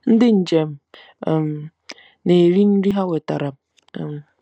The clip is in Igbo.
Ndị njem um na-eri nri ha wetara. um